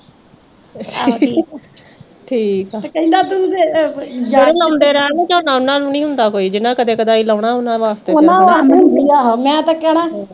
ਜਿਹੜੇ ਲਾਉਂਦੇ ਰਹਿਣ ਨਾ ਝੋਨਾ, ਉਨ੍ਹਾਂ ਨੂੰ ਨੀਂ ਹੁੰਦਾ ਕੋਈ, ਜਿੰਨ੍ਹਾਂ ਨੇ ਕਦੀ-ਕਦਾਈਂ ਲਾਉਣਾ ਉਨ੍ਹਾਂ ਦਾ